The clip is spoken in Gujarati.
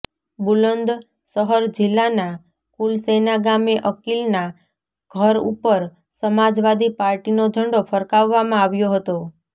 બુલંદ શહર જિલ્લાના કુલસૈના ગામે અકીલના ઘર ઉપર સમાજવાદી પાર્ટીનો ઝંડો ફરકાવવામાં આવ્યો હતો